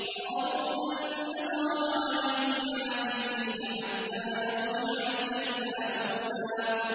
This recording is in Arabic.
قَالُوا لَن نَّبْرَحَ عَلَيْهِ عَاكِفِينَ حَتَّىٰ يَرْجِعَ إِلَيْنَا مُوسَىٰ